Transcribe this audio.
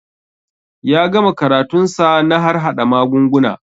Ya gama karatun sa na harhaɗa magunguna